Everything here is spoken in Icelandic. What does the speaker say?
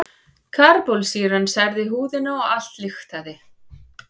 Karbólsýran særði húðina og allt lyktaði.